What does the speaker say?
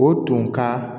O tun ka